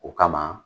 O kama